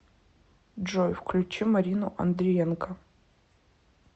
джой включи марину андриенко